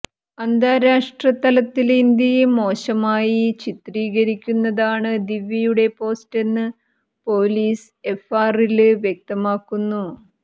അന്താരാഷ്ട്ര തലത്തില് ഇന്ത്യയെ മോശമായി ചിത്രീകരിക്കുന്നതാണ് ദിവ്യയുടെ പോസ്റ്റെന്ന് പോലീസ് എഫ്ആറില് വ്യക്തമാക്കുന്നു